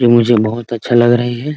यह मुझे बहुत अच्छा लग रही है ।